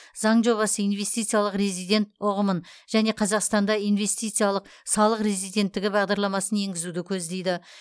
заң жобасы инвестициялық резидент ұғымын және қазақстанда инвестициялық салық резиденттігі бағдарламасын енгізуді көздейді